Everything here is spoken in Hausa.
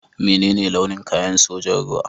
Menene launin kayan sojan ruwa?